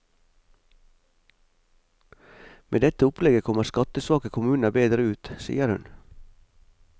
Med dette opplegget kommer skattesvake kommuner bedre ut, sier hun.